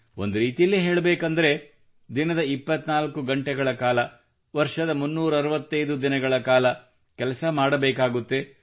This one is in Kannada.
ಒಂದುರೀತಿಯಲ್ಲಿ ಹೇಳಬೇಕೆಂದರೆ ದಿನದ 24 ಗಂಟೆಗಳ ಕಾಲ ವರ್ಷದ 365 ದಿನಗಳ ಕಾಲ ಕೆಲಸ ಮಾಡಬೇಕಾಗುತ್ತದೆ